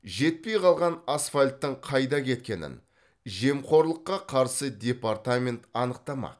жетпей қалған асфальттың қайда кеткенін жемқорлыққа қарсы департамент анықтамақ